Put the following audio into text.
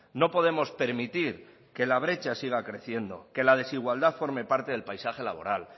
no podemos permitir que la brecha siga creciendo que la desigualdad forme parte del paisaje laboral